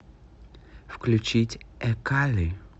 включить экали